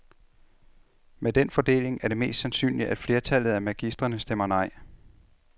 Med den fordeling er det mest sandsynligt, at flertallet af magistrene stemmer nej.